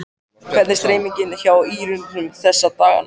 Hvernig er stemningin hjá ÍR-ingum þessa dagana?